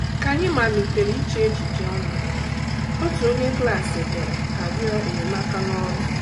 Ka anyị malitere iche echiche ọnụ, otu onye klas bịara arịọ enyemaka n’ọrụ.